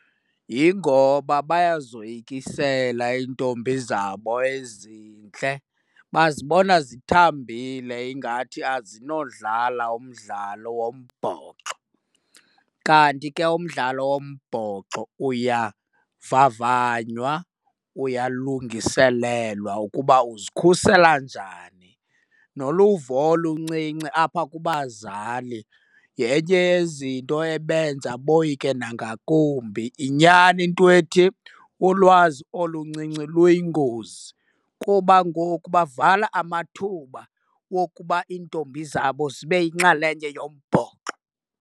Yingoba bayazoyikisela iintombi zabo ezintle, bazibona zithambile ingathi azinodlala umdlalo wombhoxo. Kanti ke umdlalo wombhoxo uyavavanywa uyalungiselelwa ukuba uzikhusela njani, noluvo oluncinci apha kubazali yenye yezinto ebenza boyike nangakumbi. Yinyani into ethi ulwazi oluncinci luyingozi kuba ngoku bavala amathuba wokuba iintombi zabo zibe yinxalenye yombhoxo.